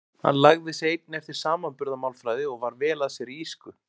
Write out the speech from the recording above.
Hann lagði sig einnig eftir samanburðarmálfræði og var vel að sér í írsku.